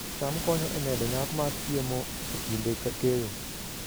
cham konyo e medo nyak mar chiemo e kinde keyo